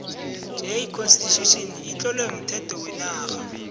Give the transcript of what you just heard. j constitution itlowe umthetho wenarha